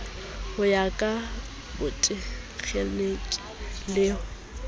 ho ya ka botekgeniki le